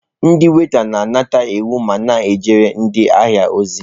Ndị waita na-anata iwu ma na-ejere ndị ahịa ozi.